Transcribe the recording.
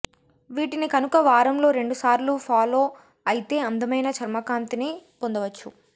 వీటిని కనుక వారంలో రెండు సార్లు ఫాలో అయితే అందమైన చర్మకాంతిని పొందవచ్చు